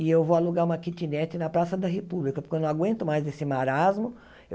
E eu vou alugar uma quitinete na Praça da República, porque eu não aguento mais esse marasmo.